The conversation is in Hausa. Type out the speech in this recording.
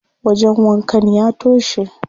Wajen wankan ya toshe.